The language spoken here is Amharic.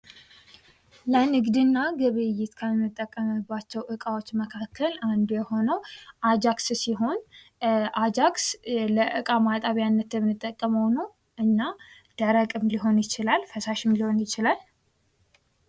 ለንግድና ግብይት ከምንጠቀምባቸው እቃዎች መካከል አንዱ የሆነው አጃክስ ሲሆን፤ አጃክስ ለዕቃ ማጠቢያነት የምንጠቀመው ነው። እና ደረቅም ሊሆን ይችላል፤ ፈሳሽም ሊሆን ይችላል።